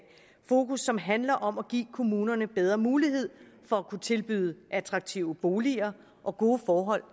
fokus som handler om at give kommunerne bedre mulighed for at kunne tilbyde attraktive boliger og gode forhold